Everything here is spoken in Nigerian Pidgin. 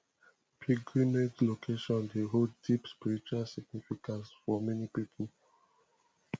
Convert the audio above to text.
pilgrimage locations dey hold deep spiritual significance for many people